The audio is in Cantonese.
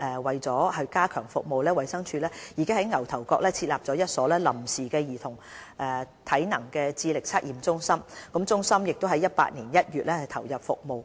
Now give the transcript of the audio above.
為了加強服務，衞生署已在牛頭角設立一所臨時兒童體能智力測驗中心，該中心已於2018年1月投入服務。